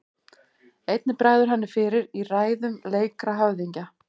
Einnig bregður henni fyrir í ræðum leikra höfðingja.